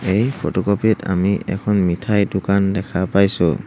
এই ফটোকপি ত আমি এখন মিঠাই দোকান দেখা পাইছোঁ।